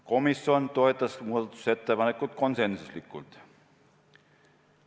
Komisjon toetas muudatusettepanekut konsensusega.